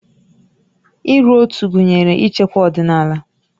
Uru ótú gụnyere ichekwa ọdịnala